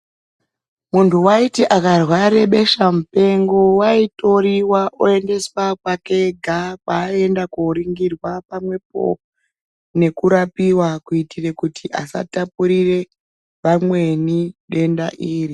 Muntu vaiti akarware besha mupengo vaitoriva oendeswa kwake ega kwaaienda koringirwa pamwepo nekurapiva. Kuitire kuti asatapurire vamweni denda iri.